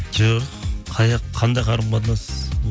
жоқ қандай қарым қатынас